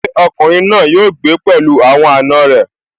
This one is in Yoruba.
Ṣé ọkùnrin náà yóò gbé pẹ̀lú àwọn àna rẹ̀?